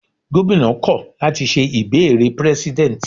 Gómìnà kọ̀ láti ṣe ìbéèrè prẹ́sídẹ̀nt